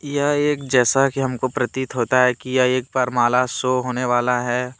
यह एक जैसा की हम को प्रतीत होता है कि यह एक वरमाला सो होने वाला है।